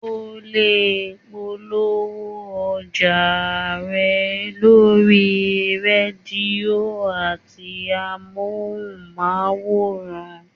O lè polówó ọjà rẹ lórí rédíò àti amóhùnmáwòrán